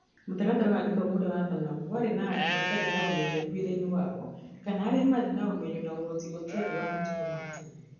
Mũtaratara wa gĩthomo ũrĩa wathanagwo warĩ na andũ matarĩ na ũmenyeru wĩra-inĩ wao, kana arĩa maarĩ na ũmenyo na ũhoti ũtarĩ wa matukũ ma tene.